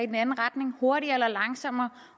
den anden retning hurtigere eller langsommere